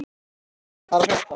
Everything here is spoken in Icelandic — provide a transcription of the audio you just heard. Solveig, hvað er að frétta?